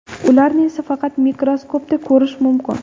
Ularni esa faqat mikroskopda ko‘rish mumkin.